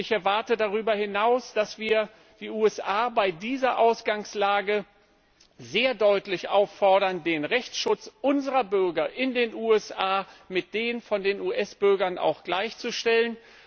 Ich erwarte darüber hinaus, dass wir die USA bei dieser Ausgangslage sehr deutlich auffordern, den Rechtsschutz unserer Bürger in den USA mit dem von US Bürgern gleichzustellen.